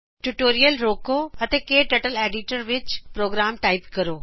tutorial ਰੋਕੋ ਅਤੇ ਕਟਰਟਲ ਐਡੀਟਰ ਵਿਚ ਪ੍ਰੋਗਰਾਮ ਟਾਇਪ ਕਰੋ